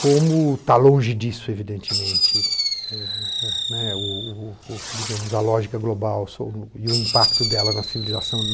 Como está longe disso, evidentemente, ne digamos a lógica global e o impacto dela na civilização.